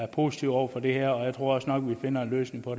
positive over for det her og jeg tror også nok vi finder en løsning på